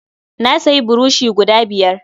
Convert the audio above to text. Na sayi burushi guda biyar.